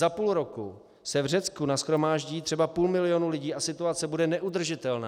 Za půl roku se v Řecku nashromáždí třeba půl milionu lidí a situace bude neudržitelná.